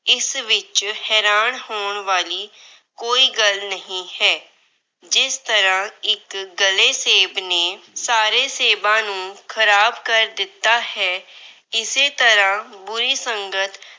ਇਸ ਵਿੱਚ ਹੈਰਾਨ ਹੋਣ ਵਾਲੀ ਕੋਈ ਗੱਲ ਨਹੀਂ ਹੈ। ਜਿਸ ਤਰ੍ਹਾਂ ਇੱਕ ਗਲੇ ਸੇਬ ਨੇ ਸਾਰੇ ਸੇਬਾਂ ਨੂੰ ਖਰਾਬ ਕਰ ਦਿੱਤਾ ਹੈ। ਇਸੇ ਤਰ੍ਹਾਂ ਬੁਰੀ ਸੰਗਤ